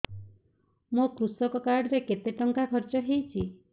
ମୋ କୃଷକ କାର୍ଡ ରେ କେତେ ଟଙ୍କା ଖର୍ଚ୍ଚ ହେଇଚି